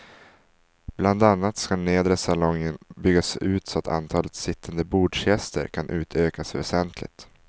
Bland annat skall nedre salongen byggas ut så att antalet sittande bordsgäster kan utökas väsentligt.